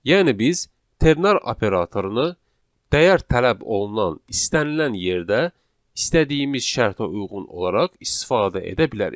Yəni biz ternar operatorunu dəyər tələb olunan istənilən yerdə istədiyimiz şərtə uyğun olaraq istifadə edə bilərik.